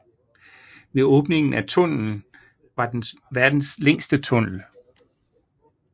Ved åbningen af tunnelen var den verdens længste tunnel